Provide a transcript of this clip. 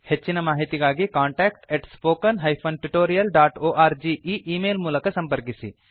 ಹೆಚ್ಚಿನ ಮಾಹಿತಿಗಾಗಿ contact spoken tutorialorg ಈ ಈ ಮೇಲ್ ಮೂಲಕ ಸಂಪರ್ಕಿಸಿ